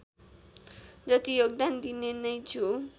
जति योगदान दिने नै छु